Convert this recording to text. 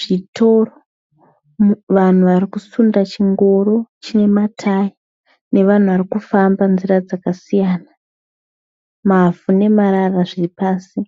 zvitoro, vanhu varikusunda chingoro chine matayi nevanhu varikufamba nzira dzakasiyana. Mavhu nemarara zviripasi.